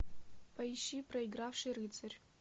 поищи проигравший рыцарь